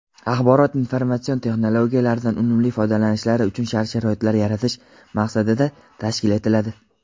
axborot informatsion texnologiyalardan unumli foydalanishlari uchun shart-sharoitlar yaratish maqsadida tashkil etiladi.